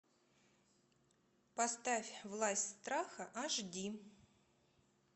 поставь власть страха аш ди